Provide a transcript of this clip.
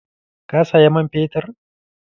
Ka saya man fetur?